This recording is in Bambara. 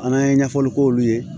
An ye ɲɛfɔli k'olu ye